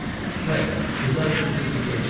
P, qıza üç litr sirkə içir.